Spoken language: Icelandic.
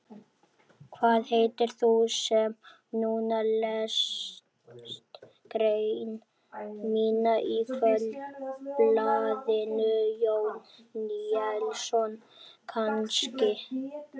Hvað heitir þú sem núna lest grein mína í Kvöldblaðinu, Jón Níelsson kannski?